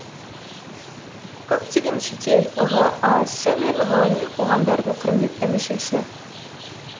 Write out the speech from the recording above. көптеген шетел ға сы мен ғылыми қоғамдардың құрметті мүшесі